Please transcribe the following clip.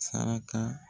Saraka